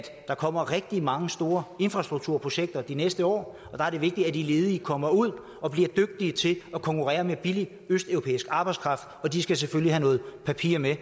der kommer rigtig mange store infrastrukturprojekter de næste år og det er vigtigt at de ledige kommer ud og bliver dygtige til at konkurrere med billig østeuropæisk arbejdskraft og de skal selvfølgelig have noget papir med